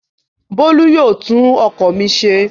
Bólú yóò tún ọkọ̀ mi ṣe.